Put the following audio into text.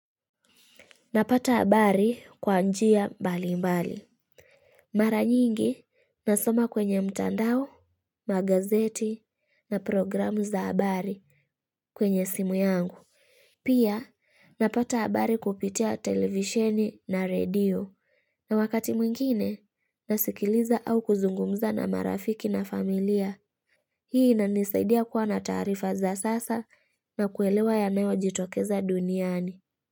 Napata habari kwa njia bali mbali. Mara nyingi nasoma kwenye mtandao, magazeti na programu za abari kwenye simu yangu. Pia napata abari kupitia televisioni na radio. Na wakati mwingine nasikiliza au kuzungumza na marafiki na familia. Hii inanisaidia kuwa na tarifa za sasa na kuelewa yanawo jitokeza duniani.